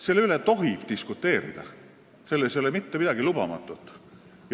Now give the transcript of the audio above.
Selle üle tohib diskuteerida, selles ei ole mitte midagi lubamatut.